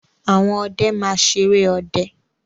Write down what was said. Àwọn ọdẹ máa ṣeré ọdẹ.